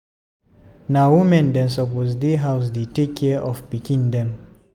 Na women dem suppose dey house dey take care of pikin dem.